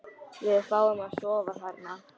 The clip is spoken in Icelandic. Við fáum að sofa þarna.